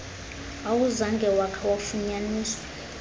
awuzange wakha wafunyaniswa